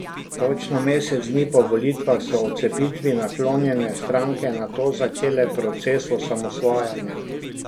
Točno mesec dni po volitvah so odcepitvi naklonjene stranke nato začele proces osamosvajanja.